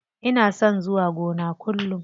Ina son zuwa gona kullum.